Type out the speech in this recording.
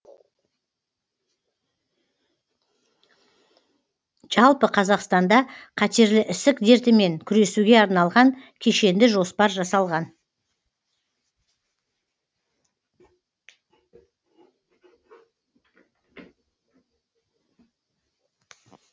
жалпы қазақстанда қатерлі ісік дертімен күресуге арналған кешенді жоспар жасалған